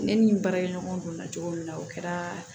Ne ni n baarakɛɲɔgɔn donna cogo min na o kɛra